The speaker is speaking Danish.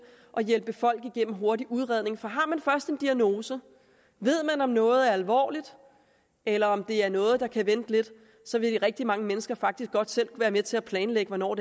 at hjælpe folk igennem hurtig udredning for har man først en diagnose ved man om noget er alvorligt eller om det er noget der kan vente lidt så vil rigtig mange mennesker faktisk godt selv være med til at planlægge hvornår